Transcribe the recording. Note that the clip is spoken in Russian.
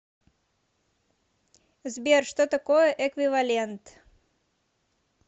сбер что такое эквивалент